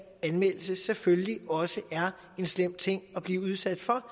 anmeldelse selvfølgelig også er en slem ting at blive udsat for